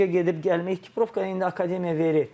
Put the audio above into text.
Məşqə gedib gəlmək, ekiprovkanı indi akademiya verir.